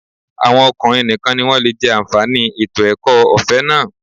Àwọn ọkùnrin nìkan ni wọ́n lè jẹ́ àǹfààní ètò ẹ̀kọ́ ọ̀fẹ́ náà